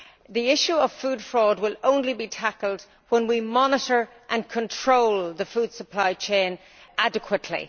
The issue of food fraud will only be tackled when we monitor and control the food supply chain adequately.